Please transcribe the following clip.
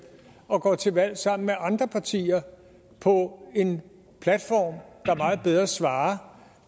og går til valg sammen med andre partier på en platform der meget bedre svarer